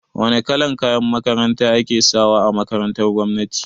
Wane kalan kayan makaranta ake sawa a makarantar gwamnati?